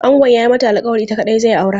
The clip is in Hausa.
Angon ya yi mata alkawarin ita kaɗai zai aura.